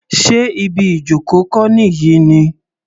Sé ibi ìjoko kọ́ nìyí ni?